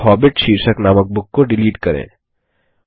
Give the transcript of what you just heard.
थे हॉबिट शीर्षक नामक बुक को डिलीट करें